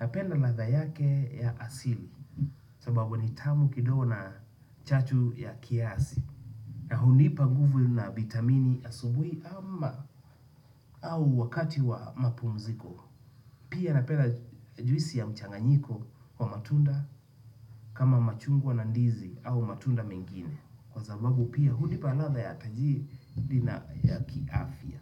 Napenda ladha yake ya asili. Sababu ni tamu kidogo na chachu ya kiasi. Na hunipa nguvu na bitamini asubuhi ama au wakati wa mapumziko. Pia napenda juisi ya mchanganyiko wa matunda. Kama machungwa na ndizi au matunda mengine kwa sababu pia hunipa ladha ya taji dina ya kiafya.